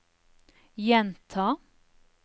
gjenta